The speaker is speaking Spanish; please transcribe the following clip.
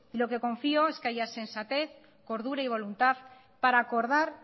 lo que confío es que haya sensatez cordura y voluntad para acordar